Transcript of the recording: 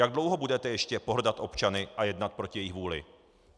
Jak dlouho budete ještě pohrdat občany a jednat proti jejich vůli?